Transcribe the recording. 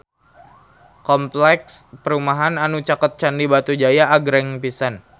Kompleks perumahan anu caket Candi Batujaya agreng pisan